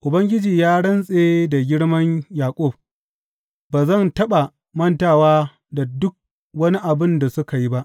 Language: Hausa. Ubangiji ya rantse da Girman Yaƙub, Ba zan taɓa mantawa da duk wani abin da suka yi ba.